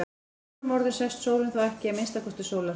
Með öðrum orðum sest sólin þá ekki í að minnsta kosti sólarhring.